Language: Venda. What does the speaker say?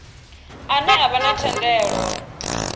ane a vha na thendelo